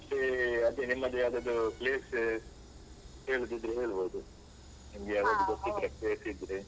ಮತ್ತೆ ಅದೆ ನಿಮ್ಮದು ಯಾವ್ದಾದ್ರು place ಹೇಳುದಿದ್ರೆ ಹೇಳ್ಬೋದು ನಿಮ್ಗೆ ಯಾವ್ದಾದ್ರು ಗೊತ್ತಿದ್ರೆ place ದ್ರೆ,